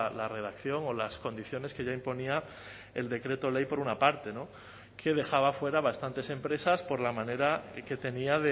la redacción o las condiciones que ya imponía el decreto ley por una parte que dejaba fuera a bastantes empresas por la manera que tenía